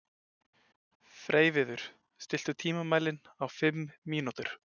Freyviður, stilltu tímamælinn á fimm mínútur.